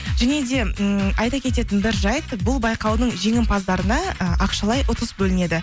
және де ммм айта кететін бір жайт бұл байқаудың жеңімпаздарына ы ақшалай ұтыс бөлінеді